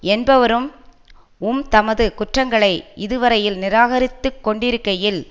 என்பவரும் உம் தமது குற்றங்களை இதுவரையிலும் நிராகரித்துக் கொண்டிருக்கையில்